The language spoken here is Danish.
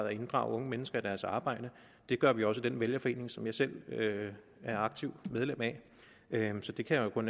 at inddrage unge mennesker i deres arbejde det gør vi også i den vælgerforening som jeg selv er aktivt medlem af så det kan jeg kun